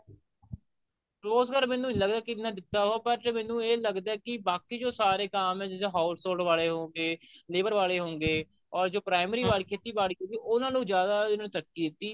ਰੋਜ਼ਗਾਰ ਮੈਨੂੰ ਇਹਨਾ ਨਹੀਂ ਲੱਗਦਾ ਕਿ ਦਿੱਤਾ but ਮੈਨੂੰ ਇਹ ਲੱਗਦਾ ਕਿ ਬਾਕੀ ਜੋ ਸਾਰੇ ਕਾਮ ਐ ਜਿਦਾਂ house hold ਵਾਲੇ ਹੋ ਗਏ labor ਵਾਲੇ ਹੋ ਗਏ or ਜੋ primary ਵਾਲੀ ਖੇਤੀਬਾੜੀ ਹੋ ਗਈ ਉਹਨਾ ਨੂੰ ਜਿਆਦਾ ਇਨੂੰ ਤਰੱਕੀ ਦਿੱਤੀ